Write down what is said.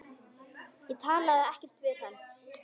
Ég talaði ekkert við hann.